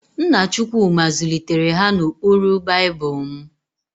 Nna Chukwuma zụlitere ha n'ụkpụrụ Baịbụl.m